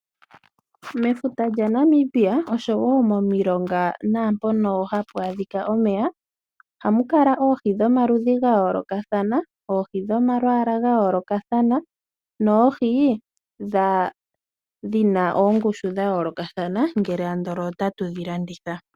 Mefuta yaNamibia, noshowo momilonga naampoka hapu adhika omeya, ohamu kala oohi dhomaludhi ga yoolokathana, oohi dhomalwaala ga yoolokatha noohi dhina ongushu ya yoolokathana ngele ota tu dhilanditha.